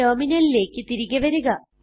ടെർമിനലിലേക്ക് തിരികെ വരിക